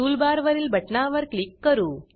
टूलबारवरील बटणावर क्लिक करू